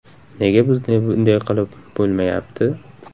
Nega bizda bunday qilib bo‘lmayapti?